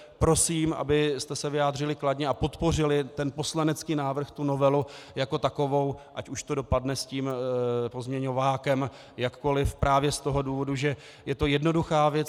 Prosím, abyste se vyjádřili kladně a podpořili ten poslanecký návrh, tu novelu jako takovou, ať už to dopadne s tím pozměňovákem jakkoliv právě z toho důvodu, že je to jednoduchá věc.